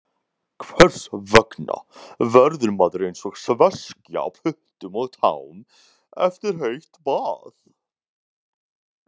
Hvers vegna verður maður eins og sveskja á puttum og tám eftir heitt bað?